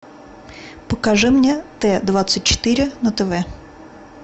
покажи мне т двадцать четыре на тв